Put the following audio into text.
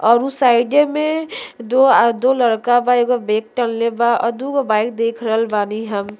और उ साइडे में दो आ लड़का बा एगो बैग टंगले बा आ दूगो बाइक देख रहल बानी हम --